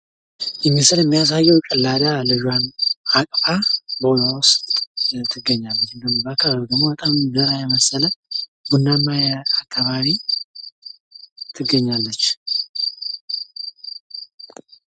ይህ ምስል የሚያሳዬው ጭላዳ ልጇን አቅፋ በሆዷ ውስጥ ትገኛለች። በአካባቢው በረሀ የመሰለ ቡናማ አካባቢ ትገኛለች።